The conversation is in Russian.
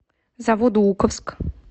заводоуковск